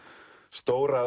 stóra